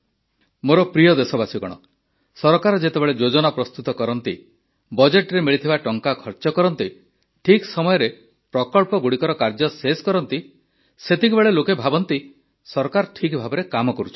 ମୋର ପ୍ରିୟ ଦେଶବାସୀଗଣ ସରକାର ଯେତେବେଳେ ଯୋଜନା ପ୍ରସ୍ତୁତ କରନ୍ତି ବଜେଟ୍ରେ ମିଳିଥିବା ଟଙ୍କା ଖର୍ଚ୍ଚ କରନ୍ତି ଠିକ ସମୟରେ ପ୍ରକଳ୍ପଗୁଡ଼ିକର କାର୍ଯ୍ୟ ଶେଷ କରନ୍ତି ସେତେବେଳେ ଲୋକେ ଭାବନ୍ତି ଯେ ସରକାର ଠିକ୍ ଭାବେ କାର୍ଯ୍ୟ କରୁଛନ୍ତି